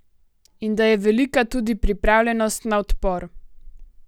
In da je velika tudi pripravljenost na odpor.